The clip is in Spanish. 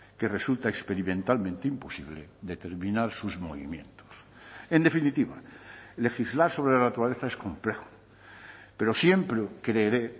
que resulta experimentalmente imposible determinar sus movimientos en definitiva legislar sobre la naturaleza es complejo pero siempre creeré